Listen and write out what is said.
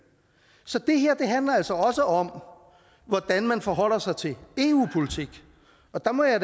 så det her handler altså også om hvordan man forholder sig til eu politik og der må jeg